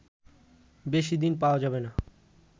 বেশি দিন পাওয়া যাবেনা